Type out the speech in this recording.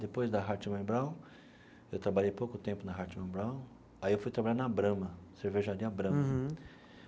Depois da Hartmann e Braun, eu trabalhei pouco tempo na Hartmann e Braun, aí eu fui trabalhar na Brahma, cervejaria Brahma. Uhum.